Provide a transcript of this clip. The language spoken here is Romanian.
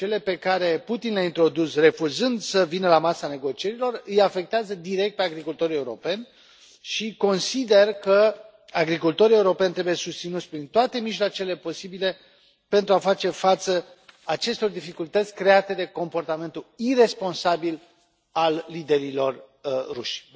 Cele pe care Putin le a introdus refuzând să vină la masa negocierilor îi afectează direct pe agricultorii europeni și consider că agricultorii europeni trebuie susținuți prin toate mijloacele posibile pentru a face față acestor dificultăți create de comportamentul iresponsabil al liderilor ruși.